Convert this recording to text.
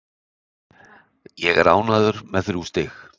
Ég er ánægður með þrjú stig.